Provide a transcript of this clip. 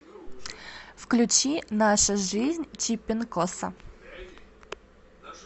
включи наша жизнь чипинкоса